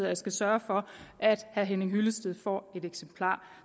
jeg skal sørge for at herre henning hyllested får et eksemplar